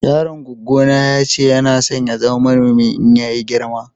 yaron gwaggo na ya ce Yana son ya zama manomi in ya yi girma.